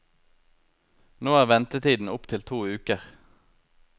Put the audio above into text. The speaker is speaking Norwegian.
Nå er ventetiden opp til to uker.